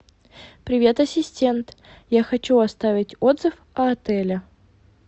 привет ассистент я хочу оставить отзыв о отеле